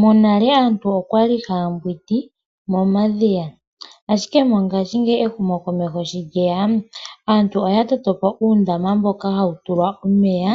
Monale aantu okwa li ha ya mbwindi momadhiya, ashike mongashingeyi ehumokomeho shi lye ya, aantu oya nduluka po uundama mboka hawu tulwa omeya,